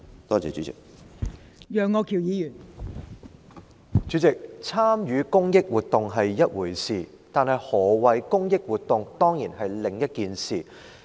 代理主席，參與公益活動是一回事，但何謂"公益活動"是另一回事。